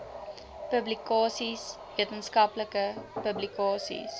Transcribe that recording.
publikasies wetenskaplike publikasies